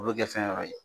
O bɛ kɛ fɛn wɛrɛ ye